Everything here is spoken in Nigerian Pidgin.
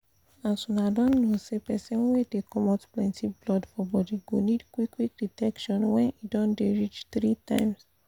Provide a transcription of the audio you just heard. as una don know say persin wey dey comot plenty blood for body go need qik qik detection when e don dey reach three time